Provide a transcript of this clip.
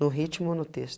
No ritmo ou no